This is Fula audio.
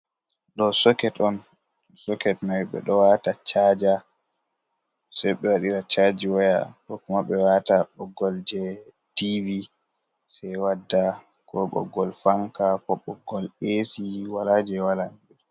Ɗo soket on, soket mai ɓeɗo wata caja, se ɓe waɗira caji waya, kokoma ɓe wata ɓoggol je tivi, se wadda ko ɓoggol fanka bo ɓoggol esi, wala je wala.